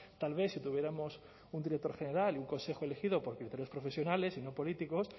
tal vez si tuviéramos un director general y un consejo elegido por criterios profesionales y no políticos